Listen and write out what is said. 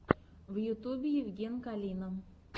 в ютюбе евген калина